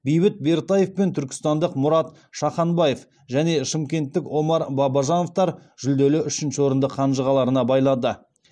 бейбіт бертаев пен түркістандық мұрат шаханбаев және шымкенттік омар бабажановтар жүлделі үшінші орынды қанжығаларына байлады